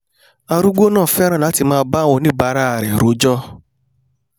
arúgbó náà fẹ́ràn láti máà bá àwọn oníbàárà rẹ̀ rojọ́